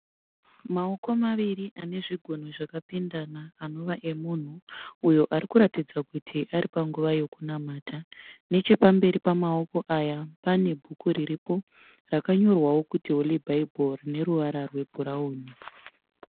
Maoko maviri ane zvigunwe zvakapinda anova emunhu uyo anoratidza kuti ari panguva yokunamata. Nechepamberi pamamoko aya pane bhuku riripo rakanyorwawo kuti Holy Bible rine ruvara rwebhurauni.